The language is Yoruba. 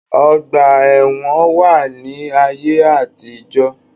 Ọgbà ẹ̀wọn wà ní ayé àtijó.